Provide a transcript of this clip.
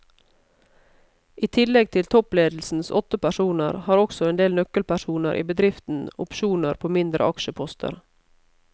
I tillegg til toppledelsens åtte personer har også en del nøkkelpersoner i bedriften opsjoner på mindre aksjeposter.